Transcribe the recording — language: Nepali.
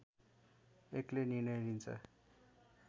एक्लै निर्णय लिन्छ